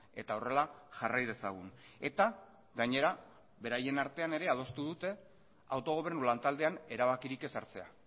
eta horrela jarrai dezagun eta gainera beraien artean ere adostu dute autogobernu lantaldean erabakirik ez hartzea